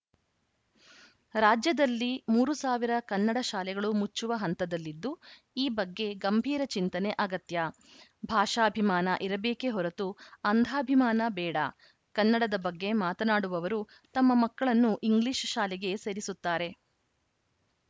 ರಾಜ್ಯದಲ್ಲಿ ಮೂರು ಸಾವಿರ ಕನ್ನಡಶಾಲೆಗಳು ಮುಚ್ಚುವ ಹಂತದಲ್ಲಿದ್ದು ಈ ಬಗ್ಗೆ ಗಂಭೀರ ಚಿಂತನೆ ಅಗತ್ಯ ಭಾಷಾಭಿಮಾನ ಇರಬೇಕೇ ಹೊರತು ಅಂಧಾಭಿಮಾನ ಬೇಡ ಕನ್ನಡದ ಬಗ್ಗೆ ಮಾತನಾಡುವವರು ತಮ್ಮ ಮಕ್ಕಳನ್ನು ಇಂಗ್ಲೀಷ್‌ ಶಾಲೆಗೆ ಸೇರಿಸುತ್ತಾರೆ